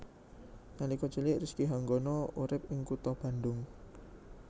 Nalika cilik Rizky Hanggono urip ing kutha Bandung